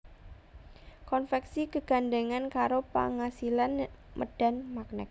Konvèksi gegandhèngan karo pangasilan médhan magnèt